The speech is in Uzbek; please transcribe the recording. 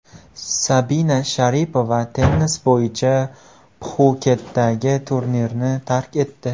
Sabina Sharipova tennis bo‘yicha Pxuketdagi turnirni tark etdi.